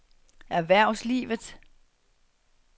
erhvervslivet